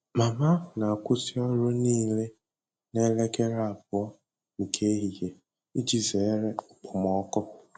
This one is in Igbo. Mama na-akwụsị ọrụ niile n'elekere abụọ nke ehihie iji zere okpomọkụ.